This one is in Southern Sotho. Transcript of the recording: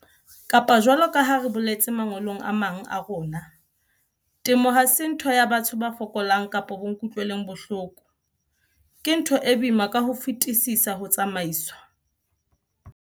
Kapa jwalo ka ha re boletse mangolong a mang a rona, temo ha se ntho ya batho ba fokolang kapa bo-nkutlweleng-bohloko. Ke ntho e boima ka ho fetisisa ho tsamaiswa.